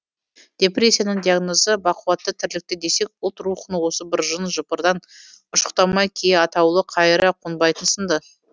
депрессияның диагнозы бақуатты тірлікте десек ұлт рухын осы бір жын жыпырдан ұшықтамай кие атаулы қайыра қонбайтын сынды